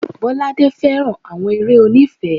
Bolade féràn àwọn eré oní ìfẹ́.